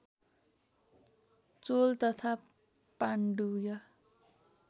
चोल तथा पाण्डुय